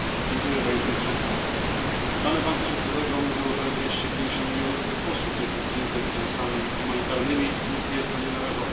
Pani Przewodnicząca! Dane Banku Światowego mówią, że 250 mln osób jest dotkniętych kryzysami humanitarnymi lub jest na nie narażonych.